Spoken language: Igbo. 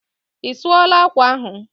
Isuola akwa ahụ?